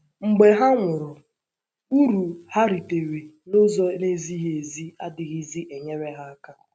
Mgbe ha nwụrụ, uru ha ritere n’ụzọ na - ezighị ezi adịghịzi enyere ha aka.